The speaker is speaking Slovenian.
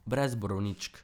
Brez borovničk.